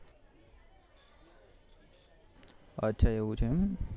એવું છે એમ